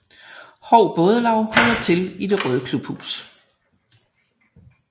Hou Bådelaug holder til i det røde klubhus